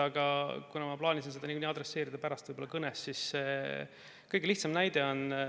Aga kuna ma plaanisin seda nagunii pärast kõnes adresseerida, siis toon kõige lihtsama näite.